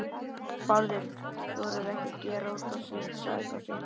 Bárður þorir ekki að gera út á síld, sagði pabbi.